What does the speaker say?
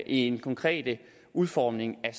en konkret udfordring af